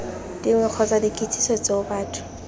dingwe kgotsa dikitsiso tseo batho